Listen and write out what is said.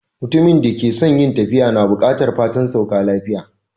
Mutumin da ke son yin tafiya na bukatan fatan sauka lafiya.